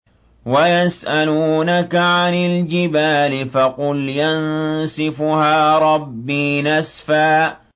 وَيَسْأَلُونَكَ عَنِ الْجِبَالِ فَقُلْ يَنسِفُهَا رَبِّي نَسْفًا